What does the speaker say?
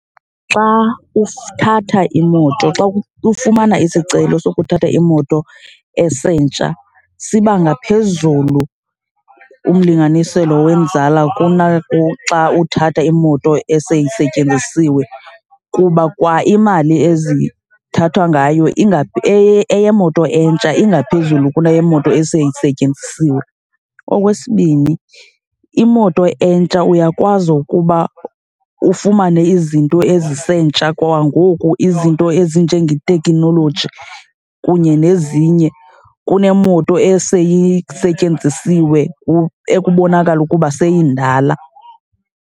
Xa uthatha imoto, xa ufumana isicelo sokuthatha imoto esentsha siba ngaphezulu umlinganiselo wenzala kunaxa uthatha imoto eseyisetyenzisiwe kuba kwaimali ezithathwa ngayo eyemoto entsha ingaphezulu kuneyemoto eseyisetyenzisiwe. Okwesibini imoto entsha uyakwazi ukuba ufumane izinto ezisentsha kwangoku, izinto ezinjengeteknoloji kunye nezinye kunemoto eseyisetyenzisiwe ekubonakala ukuba seyindala.